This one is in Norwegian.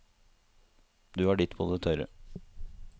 Du har ditt på det tørre.